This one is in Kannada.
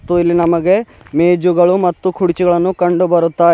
ಮತ್ತು ಇಲ್ಲಿ ನಮಗೆ ಮೆಜುಗಳು ಮತ್ತು ಕುರ್ಚಿಗಳನ್ನು ಕಂಡು ಬರುತ್ತಾ--